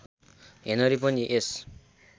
Henry पनि यस